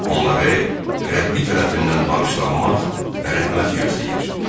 Onları Rəbbi tərəfindən bağışlanmaq və rəhmət gözləyir.